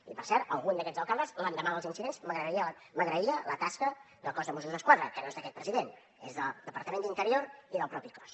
i per cert algun d’aquests alcaldes l’endemà dels incidents m’agraïa la tasca del cos de mossos d’esquadra que no és del president és del departament d’interior i del propi cos